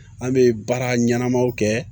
An bɛ baara ɲɛnamaw kɛ